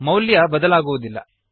ಮೌಲ್ಯ ಬದಲಾಗುವುದಿಲ್ಲ